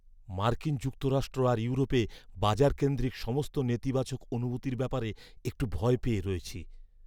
মার্কিন যুক্তরাষ্ট্র আর ইউরোপে বাজারকেন্দ্রিক সমস্ত নেতিবাচক অনুভূতির ব্যাপারে একটু ভয় পেয়ে আছি।